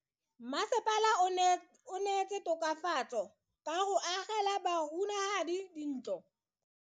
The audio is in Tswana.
Mmasepala o neetse tokafatso ka go agela bahumanegi dintlo.